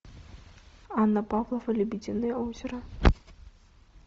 анна павлова лебединое озеро